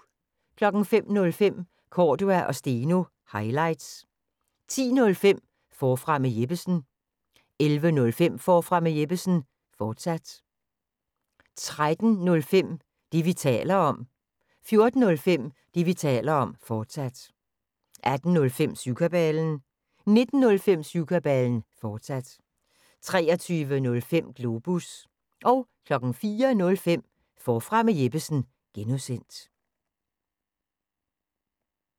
05:05: Cordua & Steno – highlights 10:05: Forfra med Jeppesen 11:05: Forfra med Jeppesen, fortsat 13:05: Det, vi taler om 14:05: Det, vi taler om, fortsat 18:05: Syvkabalen 19:05: Syvkabalen, fortsat 23:05: Globus 04:05: Forfra med Jeppesen (G)